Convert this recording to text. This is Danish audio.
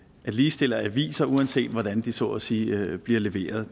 ligestille aviser uanset hvordan de så at sige bliver leveret